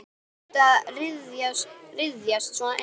Þarftu að ryðjast svona inn?